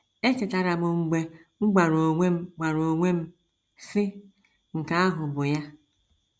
Echetara m mgbe m gwara onwe m gwara onwe m, sị, ‘ Nke ahụ bụ ya! ’”